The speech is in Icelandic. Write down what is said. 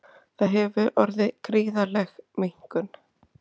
Þar hefur orðið gríðarleg minnkun